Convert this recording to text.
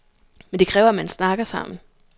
Men det kræver, at man snakker sammen.